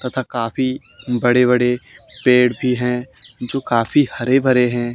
तथा काफी बड़े बड़े पेड़ भी हैं जो काफी हरे भरे हैं।